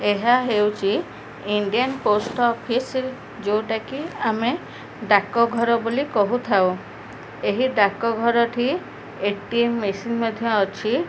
ଏହା ହେଉଚି Indian post office ଯୋଉଟା କି ଆମେ ଡାକଘର ବୋଲି କହୁଥାଉ ଏହି ଡାକଘର ଠି ଏ_ଟି_ଏମ ମେସିନ ମଧ୍ୟ ଅଛି।